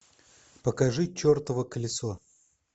покажи чертово колесо